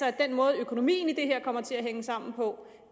at den måde økonomien i det her kommer til at hænge sammen på